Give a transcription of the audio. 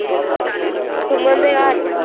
ਸੁਮਨ ਦੇ ਘਰ।